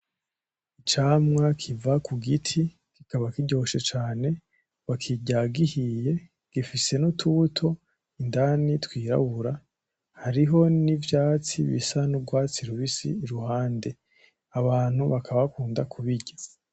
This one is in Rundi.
Ivyamwa kiba ku giti kikaba kiryoshe cane, bakirya gihiye gifise n’utubuto indani twirabura hariho n’ivyatsi bisa n’urwatsi rubisi iruhande . Abantu bakaba bakunda kubirya.